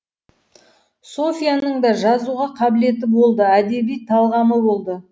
софьяның да жазуға қабілеті болды әдеби талғамы болды